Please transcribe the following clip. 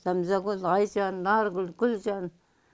зәмзагүл айжан наргүл гүлжан